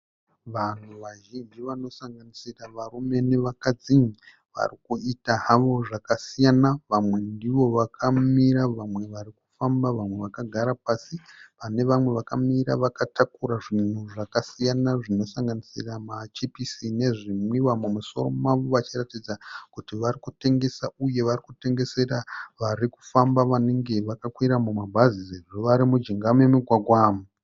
Vanhu vazhinji vanosanganisira varume nevakadzi. Varikuita havo zvakasiyana. Vamwe ndivo vakamira vamwe vari kufamba vamwe vakagara pasi. Pane vamwe vakamira vakatakura zvinhu zvakasiyana zvinosanganisira machipisi nezvinwiwa mumusoro mavo vachiratidza kuti varikutengesa uye vari kutengesera vari kufamba vanenge vakakwira mumabhazi nevari mujinga memugwagwa.